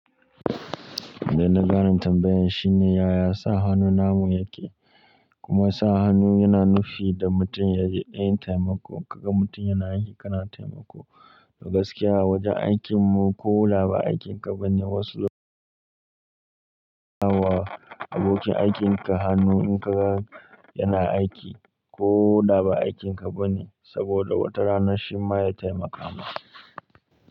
Da na gane tambayan, shine ya sa hannu namu yake? Kuma sa hannu yana nufi da mutum yayi ɗan taimako. Kaga mutum yana aiki kana taimako. A gaskiya awajen aikin mu koda ba aikin ka bane wasu suna wa abokin aikin ka hannu in ka ga yana aiki ko da ba aikin ka bane saboda wata rana shi ma ya taimaka ma ka.